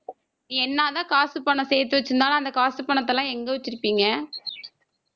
நீ என்ன தான் காசு பணம் சேர்த்து வச்சிருந்தாலும் அந்த காசு பணத்தை எல்லாம் எங்க வச்சிருப்பீங்க